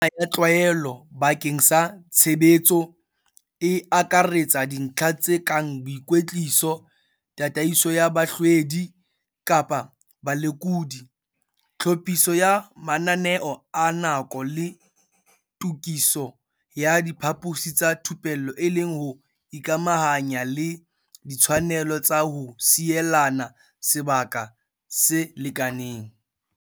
Mekgwa ena ya tlwaelo bakeng sa tshebetso, e akaretsa dintlha tse kang boikwetliso, tataiso ya bahlwedi kapa balekodi, tlhophiso ya mananeo a nako le tokiso ya diphaposi tsa thupello e le ho ikamahanya le ditshwanelo tsa ho sielana sebaka se lekaneng.